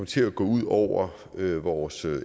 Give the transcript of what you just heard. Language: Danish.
til at gå ud over vores